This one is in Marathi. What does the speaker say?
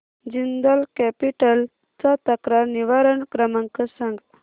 जिंदाल कॅपिटल चा तक्रार निवारण क्रमांक सांग